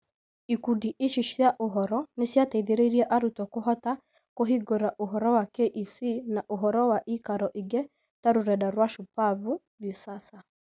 Ikundi ici cia ũhoro nĩ ciateithirie arutwo kũhota kũhingũra ũhoro wa KEC na ũhoro wa ĩikaro ingĩ ta rũrenda rwa Shupavu, Viusasa